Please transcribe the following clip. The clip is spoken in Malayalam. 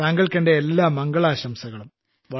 താങ്കൾക്ക് എന്റെ എല്ലാ മംഗളാശംസകളും